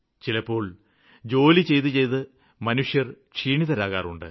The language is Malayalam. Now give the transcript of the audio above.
ചിലപ്പോള് ജോലി ചെയ്തുചെയ്ത് മനുഷ്യര് ക്ഷീണിതരാകാറുണ്ട്